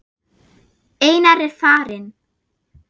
Einar er farinn.